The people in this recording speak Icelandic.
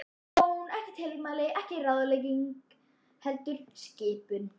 Ekki bón, ekki tilmæli, ekki ráðlegging, heldur skipun.